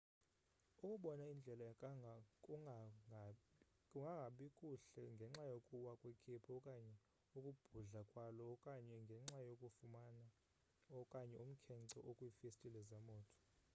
ukubona indlela kungangabi kuhle ngenxa yokuwa kwekhephu okanye ukubhudla kwalo okanye ngenxa yokufuma okanye umkhence okwiifestile zemoto